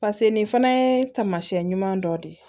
pase nin fana ye taamasiyɛn ɲuman dɔ de ye